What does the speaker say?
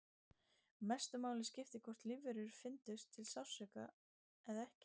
Mestu máli skipti hvort lífverur fyndu til sársauka eða ekki.